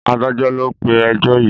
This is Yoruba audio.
Adájọ́ ló pé ẹjọ́ yìí.